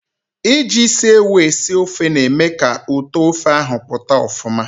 Iji isi ewu esi ofe na-eme ka ụtọ ofe ahụ pụta ọfụma.